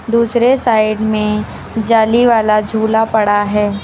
दूसरे साइड में जाली वाला झूला पड़ा है।